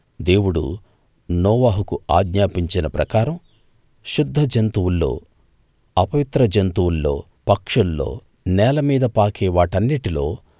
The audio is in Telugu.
దేవుడు నోవహుకు ఆజ్ఞాపించిన ప్రకారం శుద్ధ జంతువుల్లో అపవిత్ర జంతువుల్లో పక్షుల్లో నేలమీద పాకే వాటన్నిటిలో